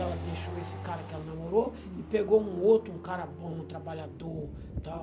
Ela deixou esse cara que ela namorou e pegou um outro, um cara bom, um trabalhador e tal.